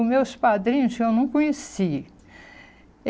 Os meus padrinhos eu não conheci.